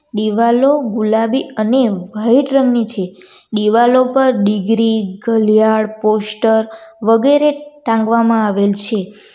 દિવાલો ગુલાબી અને વાઈટ રંગની છે દિવાલો પર ડિગ્રી ઘલિયાળ પોસ્ટર વગેરે ટાંકવામાં આવેલ છે.